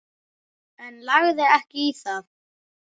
En lagði ekki í það.